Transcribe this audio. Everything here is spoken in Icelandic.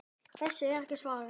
Þessu er ekki svarað.